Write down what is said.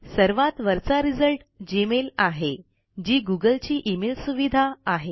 सर्वात वरचा result Gmail आहे जी गुगलची इमेल सुविधा आहे